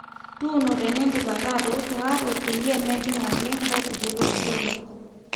tuuno tenidip ake atoosho harrow peyie mejing ake nkaitubulu torok